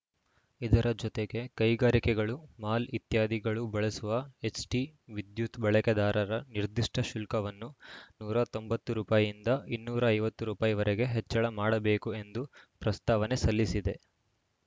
ಇದರ ಜೊತೆಗೆ ಕೈಗಾರಿಕೆಗಳು ಮಾಲ್‌ ಇತ್ಯಾದಿಗಳು ಬಳಸುವ ಎಚ್‌ಟಿ ವಿದ್ಯುತ್‌ ಬಳಕೆದಾರರ ನಿರ್ದಿಷ್ಟಶುಲ್ಕವನ್ನು ನೂರ ತೊಂಬತ್ತು ರುಪಯೀ ನಿಂದ ಇನ್ನೂರ ಐವತ್ತು ರುಪಯಿ ವರೆಗೆ ಹೆಚ್ಚಳ ಮಾಡಬೇಕು ಎಂದು ಪ್ರಸ್ತಾವನೆ ಸಲ್ಲಿಸಿದೆ